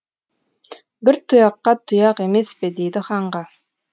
бір тұяққа тұяқ емес пе дейді ханға